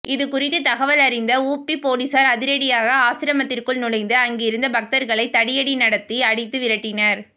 இது குறித்து தகவல் அறிந்த உபி போலீசார் அதிரடியாக ஆசிரமத்திற்குள் நுழைந்து அங்கிருந்த பக்தர்களை தடியடி நடத்தி அடித்து விரட்டினர்